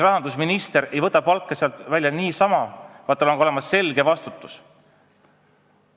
Rahandusminister ei võta sealt palka välja niisama, vaid tal peab olema selge vastutus.